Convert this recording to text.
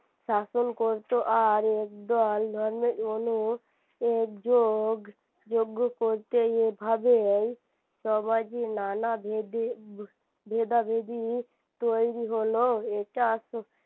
শাসন করতো আর একদল একযোগ যোগ্য করতে এভবেই সমাজে নানা ভেদা ভেদাভেদি তৈরী হলো এটা